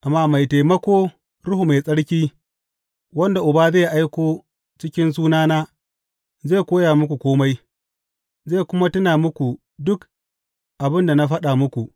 Amma Mai Taimako, Ruhu Mai Tsarki, wanda Uba zai aiko cikin sunana, zai koya muku kome, zai kuma tuna muku duk abin da na faɗa muku.